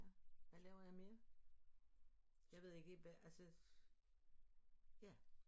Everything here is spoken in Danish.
Ja hvad laver jeg mere jeg ved ikke hvad altså ja